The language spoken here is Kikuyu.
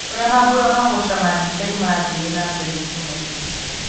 ũrĩa mambura ma gũcama ndibei mathire nambere itũrainĩ